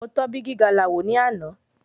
Mo tọ́ bígí galà wò ní àná.